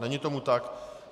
Není tomu tak.